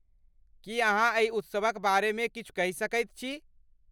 की अहाँ एहि उत्सवक बारेमे किछु कहि सकैत छी?